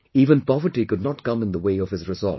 Even poverty could not come in the way of his resolve